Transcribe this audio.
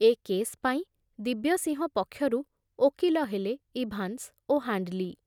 ଏ case ପାଇଁ ଦିବ୍ୟସିଂହ ପକ୍ଷରୁ ଓକିଲ ହେଲେ ଇଭାନ୍ସ ଓ ହାଣ୍ଡଲୀ ।